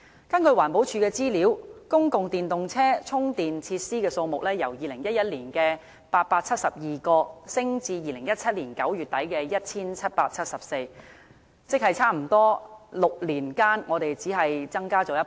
根據環保署的資料，公共電動車充電設施數目由2011年的872個，上升至2017年9月底的 1,774 個，即是6年間只是大約增加1倍。